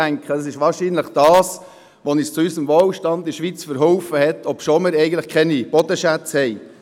Ich denke, es ist der Faktor, der uns in der Schweiz zu unserem Wohlstand verholfen hat, obwohl wir keine Bodenschätze haben.